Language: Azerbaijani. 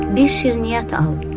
Bir şirniyyat al.